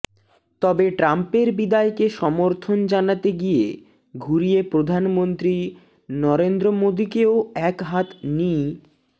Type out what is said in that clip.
তবে ট্রাম্পের বিদায়কে সমর্থন জানাতে গিয়ে ঘুরিয়ে প্রধানমন্ত্রী নরেন্দ্র মোদিকেও একহাত নি